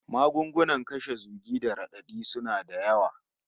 Magunguna kashe zugi da radadi suna da yawa